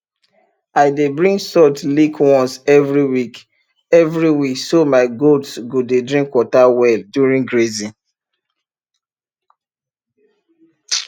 i dey bring salt lick once every week every week so my goats go dey drink water well during grazing